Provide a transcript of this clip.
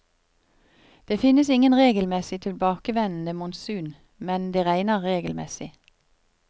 Det finnes ingen regelmessig tilbakevendende monsun, men det regner regelmessig.